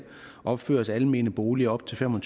opføres almene boliger op til fem